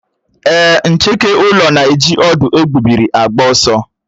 Èé, ncheke ụlọ na-eji ọ̀dú égbubị́ri agba ọsọ.